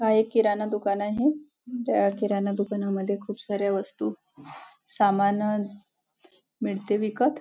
हा एक किराणा दुकान आहे ह्या किराणा दुकानामध्ये खूप साऱ्या वस्तु सामान मिळते विकत--